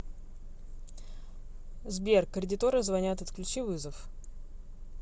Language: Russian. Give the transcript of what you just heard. сбер кредиторы звонят отключи вызов